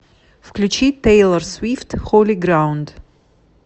включи тейлор свифт холи граунд